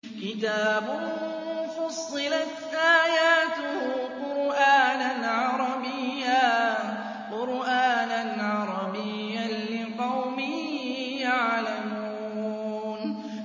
كِتَابٌ فُصِّلَتْ آيَاتُهُ قُرْآنًا عَرَبِيًّا لِّقَوْمٍ يَعْلَمُونَ